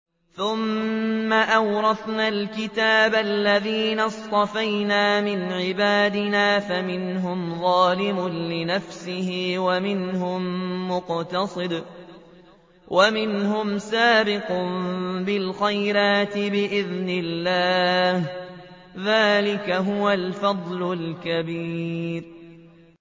ثُمَّ أَوْرَثْنَا الْكِتَابَ الَّذِينَ اصْطَفَيْنَا مِنْ عِبَادِنَا ۖ فَمِنْهُمْ ظَالِمٌ لِّنَفْسِهِ وَمِنْهُم مُّقْتَصِدٌ وَمِنْهُمْ سَابِقٌ بِالْخَيْرَاتِ بِإِذْنِ اللَّهِ ۚ ذَٰلِكَ هُوَ الْفَضْلُ الْكَبِيرُ